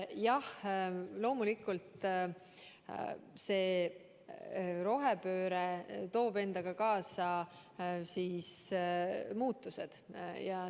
Jah, loomulikult toob rohepööre endaga kaasa muutused.